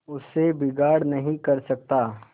उससे बिगाड़ नहीं कर सकता